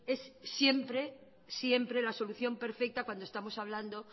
es siempre siempre la solución perfecta cuando estamos hablando